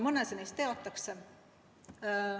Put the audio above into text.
Mõnda ohtu teatakse.